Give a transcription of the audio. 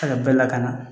bɛɛ lakana